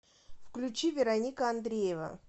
включи вероника андреева